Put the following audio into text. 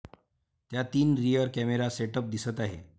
त्यात तीन rear camera setup दिसत आहे.